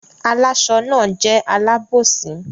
Àláṣọ náà jẹ́ alábòsí.